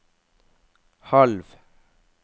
halv